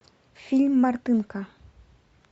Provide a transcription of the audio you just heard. фильм мартынко